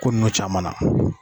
Ko nunnu caman na